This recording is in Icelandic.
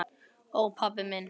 Ó, pabbi minn.